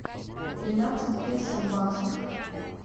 тринадцать песо в баксах